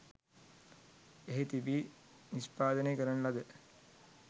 එහි තීබී නිෂ්පාදනය කරන ලද